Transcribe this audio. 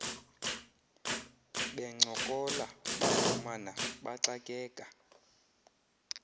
bencokola bafumana baxakeka